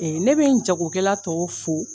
Ee ne bE jagokɛla tɔw fo